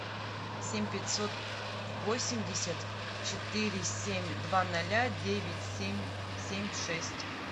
семь пятьсот восемьдесят четыре семь два ноля девять семь семь шесть